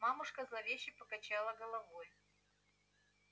мамушка зловеще покачала головой